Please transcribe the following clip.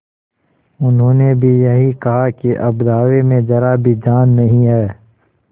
उन्होंने भी यही कहा कि अब दावे में जरा भी जान नहीं है